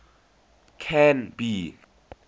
canby